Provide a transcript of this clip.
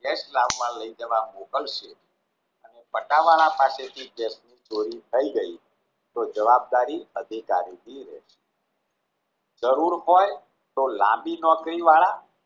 case લાવવા લઈ જવા મોકલશે અને પટ્ટાવાળા પાસેથી જે ચોરી થઈ ગઈ તો જવાબદારી અધિકારીની રહેશે જરૂર હોય તો લાંબી નોકરી વાળા